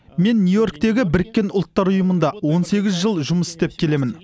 мен нью йорктегі біріккен ұлттар ұйымында он сегіз жыл жұмыс істеп келемін